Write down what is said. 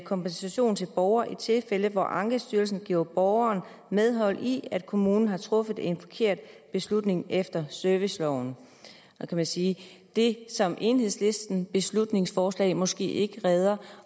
kompensation til borgere i tilfælde hvor ankestyrelsen giver borgeren medhold i at kommunen har truffet en forkert beslutning efter serviceloven man kan sige at det som enhedslistens beslutningsforslag måske ikke redder